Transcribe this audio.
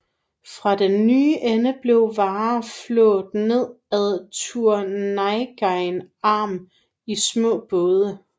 Fra den nye ende blev varer flådet ned ad Turnagain Arm i små både